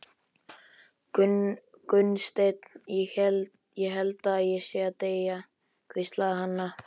Gunnsteinn, ég held ég sé að deyja, hvíslaði Hanna-Mamma.